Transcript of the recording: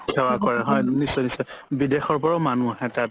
সেৱা কৰে নিশ্চয় নিশ্চয় বিদেশৰ পৰাও মানুহ আহে তাত